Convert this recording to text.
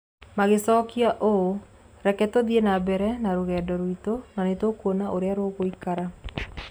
Magĩcokia ũũ: "Rekei tũthiĩ na mbere na rũgendo rwitũ na nĩ tũkuona ũrĩa rũgũikara".